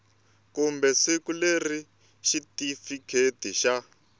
kumbe siku leri xitifiketi xa